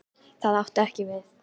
Það átti ekki við.